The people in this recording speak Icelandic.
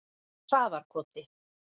Traðarkoti